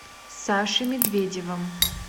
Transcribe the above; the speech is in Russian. сашей медведевым